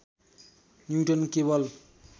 neutron केवल